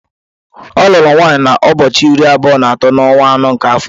Ọ lụrụ nwaanyị na ụbọọchi iri abụọ na atọ na onwa anọ nke afọ.